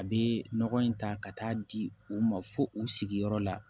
A bɛ nɔgɔ in ta ka taa di u ma fo u sigiyɔrɔ la